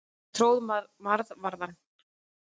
Hann tróð marvaðann.